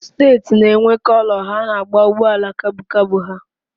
Steeti na-enwe Kọlọ ha na-agba ụgbọala kabu kabu ha